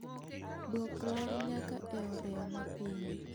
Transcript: Dwok ler nyaka e oreya mapiny